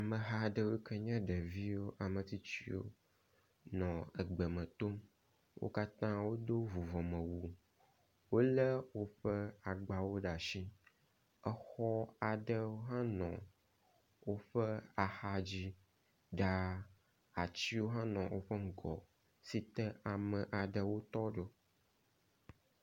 Ameha ɖewo yike nye ɖeviwo, ametsitsiwo nɔ egbeme tom. Wo katã wodo vuvɔme wu, wolé woƒe agbawo ɖe asi, exɔ aɖe hã nɔ woƒe axadzi ɖaa. Atiwo hã le woƒe ŋgɔ si te ame aɖewo tɔ ɖo.